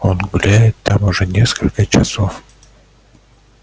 он гуляет там уже несколько часов